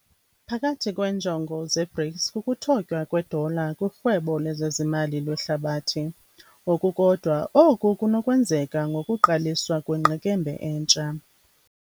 Phakathi kweenjongo ze-BRICS kukuthotywa kwedola kurhwebo lwezezimali lwehlabathi, ngokukodwa, oku kunokwenzeka ngokuqaliswa kwengqekembe entsha.